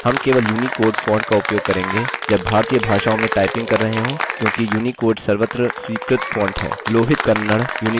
हम केवल unicode font का उपयोग करेंगे जब भारतीय भाषाओं में typing कर रहे हों क्योंकि unicode सर्वत्र स्वीकृत font है